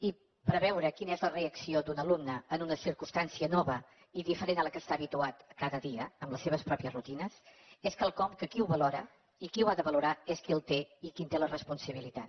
i preveure quina és la reacció d’un alumne en una circumstància nova i diferent a la que està habituat cada dia amb les seves mateixes rutines és quelcom que qui ho valora i qui ho ha de valorar és qui el té i que en té la responsabilitat